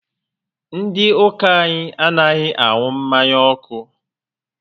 Ndị ụka anyị anaghị anụ mmanya ọkụ